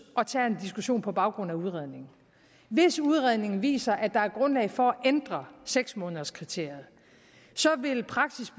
og tager en diskussion på baggrund af udredningen hvis udredningen viser at der er grundlag for at ændre seks månederskriteriet vil praksis